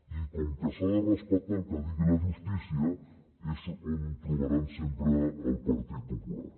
i com que s’ha de respectar el que digui la justícia és on trobaran sempre el partit popular